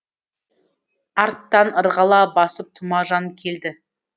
арттан ырғала басып тұмажан келді